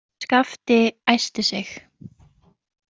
Skapti æsti sig.